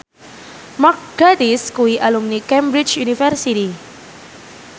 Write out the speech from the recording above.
Mark Gatiss kuwi alumni Cambridge University